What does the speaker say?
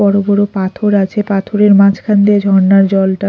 বড়ো বড়ো পাথর আছে পাথরের মাঝখান দে ঝরনার জলটা --